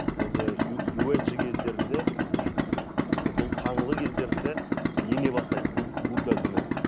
және юаджи кездерінде бұл қаңлы кездерінде ене бастайды будда діні